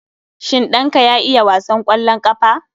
Shin ɗanka ya iya wasan kwallon ƙafa?